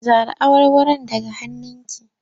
Zare awarwaron daga hannunki!